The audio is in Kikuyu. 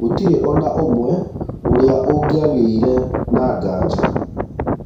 gũtirĩ onaũmwe ũrĩa ũngĩagĩire na nganja.